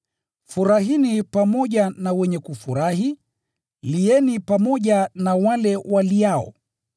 Furahini pamoja na wenye kufurahi, lieni pamoja na wale waliao.